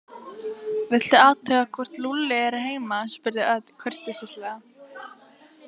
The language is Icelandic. Viltu athuga hvort Lúlli er heima spurði Örn kurteislega.